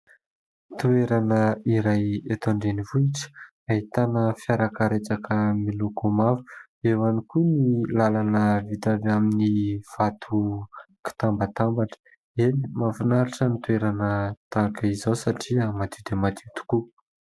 Toerana iray eto an-drenivohitra : ahitana fiarakaretsaka miloko mavo, eo ihany koa ny lalana vita avy amin'ny vato mitambatambatra. Eny, mahafinaritra ny toerana tahaka izao satria madio dia madio tokoa.